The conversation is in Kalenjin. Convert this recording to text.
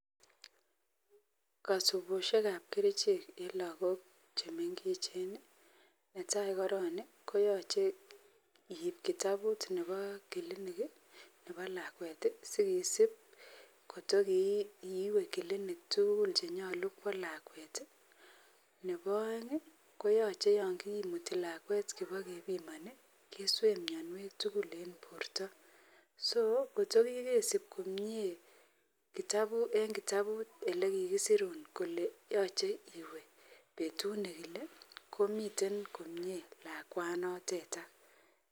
Kasugushek ab kerchek en lagok chemengechen netai koron koyache keibkitabut nebo kilinik nebo lakwet sikisib kotokiwe kilinik tugul chenyolu Kwa lakwet nebo aeng' koyache yangimuti lakwet keba kebimani keswee mianwek tugul en borta so kotogigesib komie en kitabut elekikisurun Kole yache iwe betut nekile komiten komie lakwanon notetan